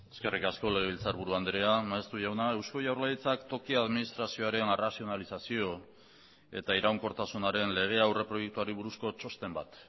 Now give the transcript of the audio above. eskerrik asko legebiltzarburu andrea maeztu jauna eusko jaurlaritzak toki administrazioaren arrazionalizazio eta iraunkortasunaren legea aurreproiektuari buruzko txosten bat